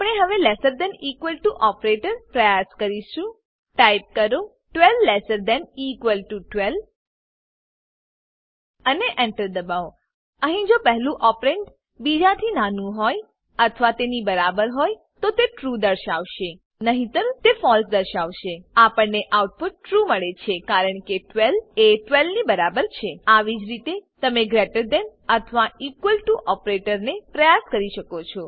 આપણે હવે less than equal to operator પ્રયાસ કરીશું ટાઈપ કરો 12 લેસ થાન ઇક્વલ 12 અને Enter દબાવો અહીં જો પહેલું ઓપરેન્ડ બીજાથી નાનું હોય અથવા તેની બરાબર હોય તો તે ટ્રૂ ટ્રૂ દર્શાવશે નહીતર તે ફળસે ફોલ્સ દર્શાવશે આપણને આઉટપુટ ટ્રૂ ટ્રૂ મળે છે કારણ કે 12 એ 12 ની બરાબર છે આવી જ રીતે તમે ગ્રેટર ધેન અથવા ઇક્વલ ટુ ઓપરેટરને પ્રયાસ કરી શકો છો